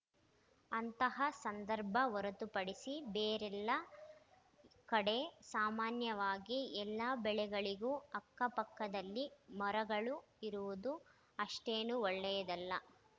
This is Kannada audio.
ಅಂತಹ ಸಂದರ್ಭ ಹೊರತುಪಡಿಸಿ ಬೇರೆಲ್ಲ ಕಡೆ ಸಾಮಾನ್ಯವಾಗಿ ಎಲ್ಲಾ ಬೆಳೆಗಳಿಗೂ ಅಕ್ಕಪಕ್ಕದಲ್ಲಿ ಮರಗಳು ಇರುವುದು ಅಷ್ಟೇನೂ ಒಳ್ಳೆಯದಲ್ಲ